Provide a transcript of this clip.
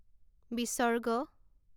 ঃ